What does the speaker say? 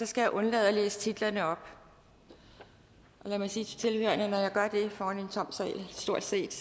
skal jeg undlade at læse titlerne op lad mig sige til tilhørerne at når jeg gør det for stort set